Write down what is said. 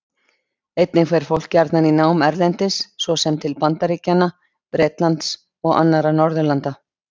Einnig fer fólk gjarnan í nám erlendis, svo sem til Bandaríkjanna, Bretlands og annarra Norðurlanda.